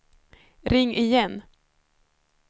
ring igen